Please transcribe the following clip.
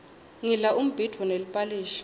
ngidla umbhidvo neliphalishi